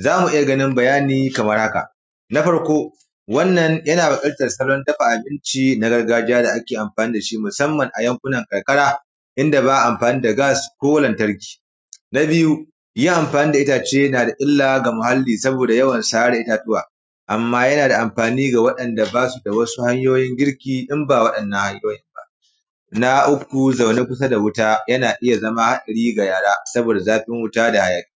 Za ku iya ganin bayani kamar haka, na farko, wannan yana wakiltar salon dafa abinci na gargajiya da ake amfani da shi musamman a yankunan karkara, in da ba a amfani da gas ko lantarki. Na biyu, yin amfani da itace na da illa ga muhalli saboda yawan sare itatuwa, amma yana da amfani ga waɗanda ba su da wasu hanyoyin girki in ba waɗannan hanyoyin ba. Na uku, zaune kusa da wuta, yana iya zama haɗari ga yara saboda zafin wuta da hayaƙi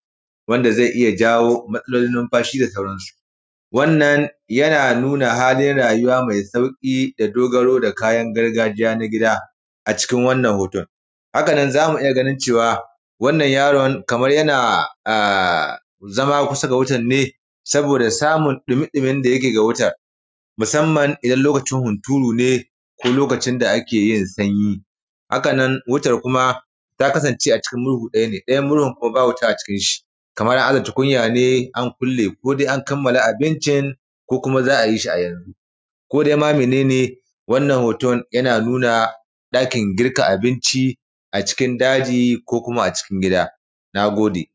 wanda ze iya jawo, wanda ze iya matsalolin numfashi da sauran su. Wannan yana nuna halin rayuwa me sauƙi da dogaro da kayan gargajiya na gida a cikin wannan hoton. Haka nan, za mu iya ganin cewa, wannan yaron kamar yana a zama kusa ga wutan ne saboda samun ɗumi-ɗumin da yake ga wutar, musamman idan lokacin hunturu ne ko lokacin da ake yin sanyi, haka nan wutar kuma, ta kasance a cikin murhu ɗaya ne, ɗaya murhun kuma ba wuta a cikin shi. Kamar an aza tukunya ne an kulle, ko de an kammala abincin, ko kuma za a yi shi a yanzu. Ko de ma mene ne, wannan hoton yana nuna, ɗakin girka abinci a cikin daji ko kuma a cikin gida, na gode.